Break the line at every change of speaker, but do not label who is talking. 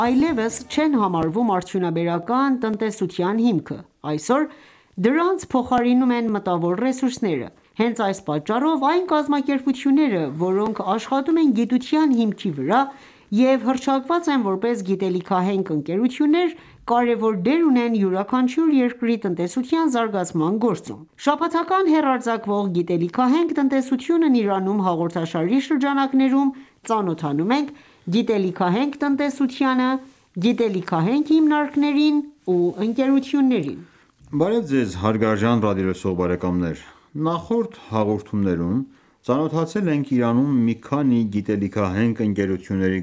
այլևս չեն համարվում արդյունաբերական տնտեսության հիմքը: Այսօր դրանց փոխարինում են մտավոր ռեսուրսները: Հենց այս պատճառով, այն կազմակերպությունները, որոնք աշխատում են գիտության հիմքի վրա և հռչակված են որպես գիտելիքահենք ընկերություններ, կարևոր դեր ունեն յուրաքանչյուր երկրի տնտեսության զարգացման գործում: Շաբաթական հեռարձակվող «Գիտելիքահենք տնտեսությունն Իրանում» հաղորդաշարի շրջանակներում, ծանոթանում ենք գիտելիքահենք տնտեսությանը, գիտելիքահենք հիմնարկներին ու ընկերություններին:
Նախորդ հաղորդումներում ծանոթացել ենք Իրանում մի քանի գիտելիքահենք ընկերությունների